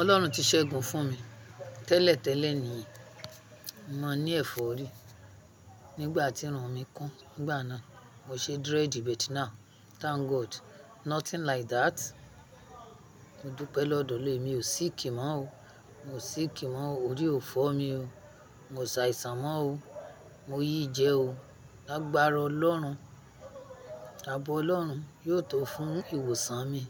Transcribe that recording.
Ọlọ́run ti ṣẹ́gun fún mi. Tẹ́lẹ̀tẹ́lẹ̀ ni mo ní ẹ̀fọ́rí nígbà tí irun mi kún. Nígbà náà, mo ṣe dread but now Thank God, nothing like that. Mo dúpẹ́ lọ́dọ̀ọ́ lé, mi ò sí kì mọ́ o. Mo sì kí mọ́ o. Orí ò fọ́ mi o. Mo ṣàìsàn mọ́ o. Mo yìí jẹ o. Lágbára Ọlọ́run. Abọ́ Ọlọ́run yóò tó fún ìwòsàn mi.